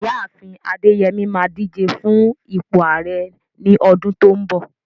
Ìyá àfin Adeyemi máa díje fún ipò Ààrẹ ní ọdún tó ń bọ̀.